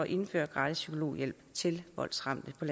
indføre gratis psykologhjælp til voldsramte på